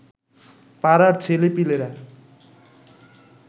পাড়ার ছেলেপিলেরা